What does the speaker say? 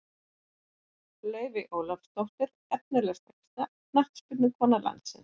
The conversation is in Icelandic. Laufey Ólafsdóttir Efnilegasta knattspyrnukona landsins?